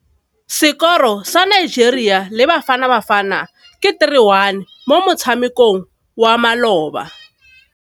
Sekôrô sa Nigeria le Bafanabafana ke 3-1 mo motshamekong wa malôba.